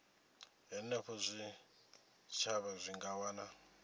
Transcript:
henefho zwitshavha zwi nga wana